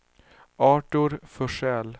Artur Forsell